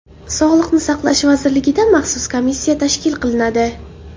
Sog‘liqni saqlash vazirligida maxsus komissiya tashkil qilinadi.